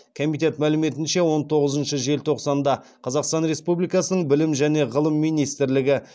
комитет мәліметінше он тоғызыншы желтоқсанда қазақстан республикасының білім және ғылым минстрлігі